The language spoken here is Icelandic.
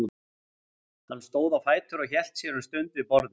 Hann stóð á fætur og hélt sér um stund við borðið.